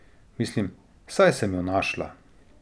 Mislim, saj sem jo našla.